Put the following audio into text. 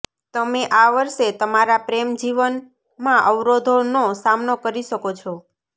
તમે આ વર્ષે તમારા પ્રેમ જીવન માં અવરોધો નો સામનો કરી શકો છો